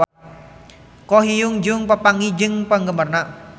Ko Hyun Jung papanggih jeung penggemarna